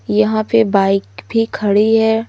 यहाँ पे बाइक भी खड़ी हैं।